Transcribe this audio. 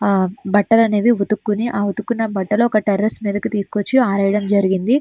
ఆ బట్టలు అనేవి ఉతుక్కొని ఆ వత్తుకున్న బట్టలు ఒక టెర్రస్ మీదకి తీసుకొచ్చి ఆరేయడం జరిగింది.